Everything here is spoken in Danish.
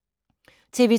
TV 2